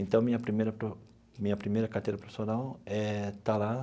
Então, minha primeira minha primeira carteira profissional eh está lá.